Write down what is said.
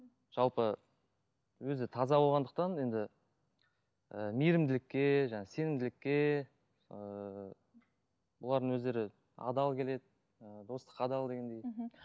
жалпы өзі таза болғандықтан енді і мейріміділікке сенімділікке ыыы бұлардың өздері адал келеді ы достыққа адал дегендей мхм